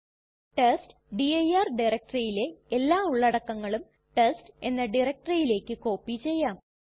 test dir ഡയറക്ടറിയിലെ എല്ലാ ഉള്ളടക്കങ്ങളും ടെസ്റ്റ് എന്ന ഡയറക്ടറിയിലേക്ക് കോപ്പി ചെയ്യാം